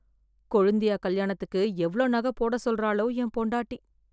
கொழுந்தியா கல்யாணத்துக்கு எவ்ளோ நக போட சொல்றாளோ என் பொண்டாட்டி?